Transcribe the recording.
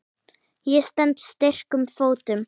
Ég stend styrkum fótum.